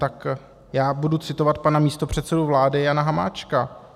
Tak já budu citovat pana místopředsedu vlády Jana Hamáčka.